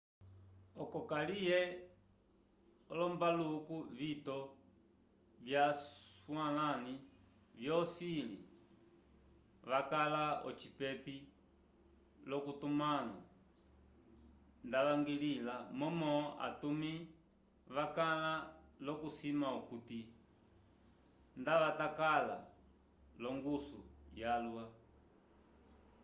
oco kaliye olombaluku vitito vyaswalãli vyocili vakala ocipepi l'ocitumãlo ndavañgilĩla momo atumi vakala l'okusima okuti ndavatakala l'ongusu yalwa